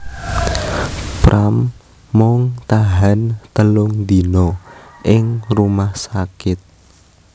Pram mung tahan telung dina ing rumah sakit